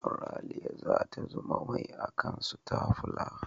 Ralia za ta zuba mai a kan stafular.